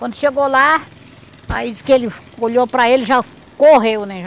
Quando chegou lá, aí disse que ele olhou para ele e já correu, né?